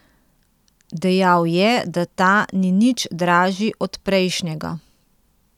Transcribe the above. Dejal je, da ta ni nič dražji od prejšnjega.